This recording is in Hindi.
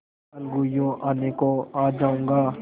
अलगूयों आने को आ जाऊँगा